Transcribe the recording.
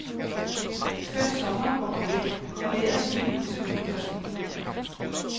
Skønt sommeren går på hæld er vejret lige nu til udendørsliv.